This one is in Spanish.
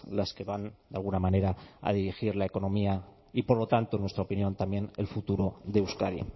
las que van de alguna manera a dirigir la economía y por lo tanto en nuestra opinión también el futuro de euskadi